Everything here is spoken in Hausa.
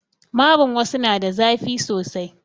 Marin wassu na da zafi sosai